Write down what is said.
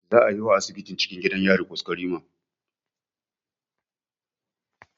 Zaa yi wa asibitin cikin gidan yari kwaskwarima